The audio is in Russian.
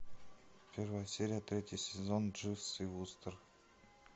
первая серия третий сезон дживс и вустер